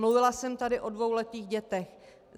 Mluvila jsem tady o dvouletých dětech.